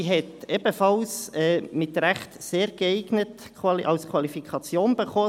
Sie hat zu Recht ebenfalls ein «sehr geeignet» als Qualifikation erhalten.